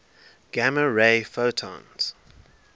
gamma ray photons